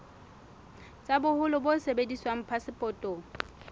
tsa boholo bo sebediswang phasepotong